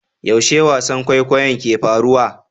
Yaushe wasan kwaikwayo ke faruwa?